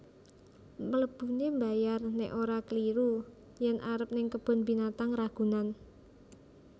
Mlebune mbayar nek ora kliru yen arep ning Kebun Binatang Ragunan